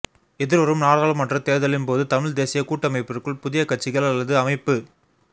எதிர்வரும் நாடாளுமன்றத் தேர்தலின்போது தமிழ் தேசியக் கூட்டமைப்பிற்குள் புதிய கட்சிகள் அல்லது அமைப்புக